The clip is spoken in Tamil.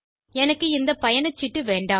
எனக்கு இந்த பயணச்சீட்டு வேண்டாம்